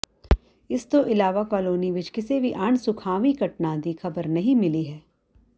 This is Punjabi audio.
ਇਸ ਤੋਂ ਇਲਾਵਾ ਕਾਲੋਨੀ ਵਿਚ ਕਿਸੇ ਵੀ ਅਣਸੁਖਾਵੀਂ ਘਟਨਾ ਦੀ ਖ਼ਬਰ ਨਹੀਂ ਮਿਲੀ ਹੈ